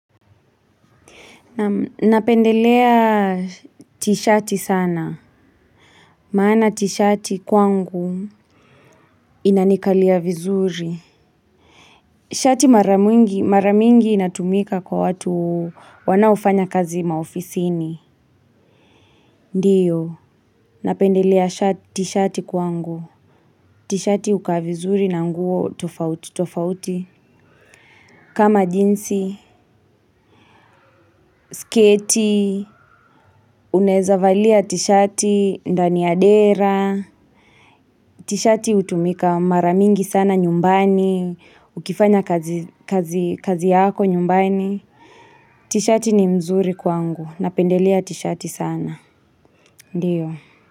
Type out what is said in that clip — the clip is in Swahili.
Napendelea tishati sana. Maana tishati kwangu. Inanikalia vizuri. Shati maramingi inatumika kwa watu wanaofanya kazi maofisini. Ndiyo, napendelea tishati kwangu. Tishati ukaa vizuri na nguo tofauti tofauti. Kama jinsi, sketi, unezavalia tiishati, ndani ya dera. Tishati utumika maramingi sana nyumbani. Ukifanya kazi yako nyumbani tishati ni mzuri kwangu. Napendelia tishati sana. Ndiyo.